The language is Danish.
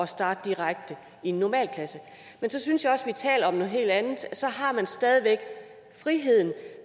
starte direkte i en normal klasse men så synes jeg også at vi taler om noget helt andet så har man stadig væk friheden